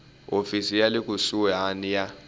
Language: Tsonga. hofisi ya le kusuhani ya